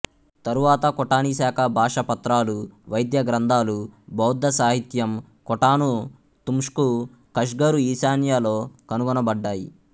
తరువాత ఖోటనీశాకా భాషా పత్రాలు వైద్య గ్రంథాలు బౌద్ధ సాహిత్యం ఖోటాను తుమ్షుకు కష్గరు ఈశాన్య లో కనుగొనబడ్డాయి